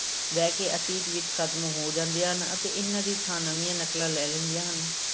ਵਹਿ ਕੇ ਅਤੀਤ ਵਿੱਚ ਖ਼ਤਮ ਹੋ ਜਾਂਦੀਆਂ ਹਨ ਅਤੇ ਇਹਨਾਂ ਦੀ ਥਾਂ ਨਵੀਂਆਂ ਨਕਲਾਂ ਲੈ ਲੈਂਦੀਆਂ ਹਨ।